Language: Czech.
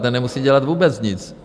Ten nemusí dělat vůbec nic.